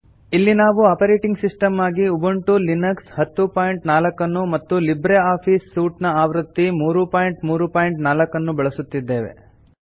ಇಲ್ಲಿ ನಾವು operating system ಆಗಿ ಉಬುಂಟು ಲಿನಕ್ಸ್ 1004 ಅನ್ನು ಮತ್ತು ಲಿಬ್ರೆ ಆಫೀಸ್ ಸೂಟ್ ಆವೃತ್ತಿ 334 ಅನ್ನು ಬಳಸುತ್ತಿದ್ದೇವೆ